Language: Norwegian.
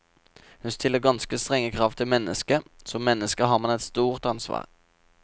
Hun stiller ganske strenge krav til mennesket, som menneske har man et stort ansvar.